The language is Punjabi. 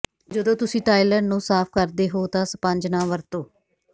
ਜਦੋਂ ਤੁਸੀਂ ਟਾਇਲਟ ਨੂੰ ਸਾਫ਼ ਕਰਦੇ ਹੋ ਤਾਂ ਸਪੰਜ ਨਾ ਵਰਤੋ